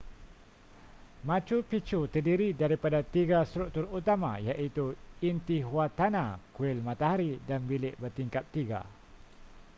machu picchu terdiri daripada tiga struktur utama iaitu intihuatana kuil matahari dan bilik bertingkap tiga